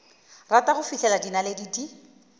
rata go fihlela dinaledi di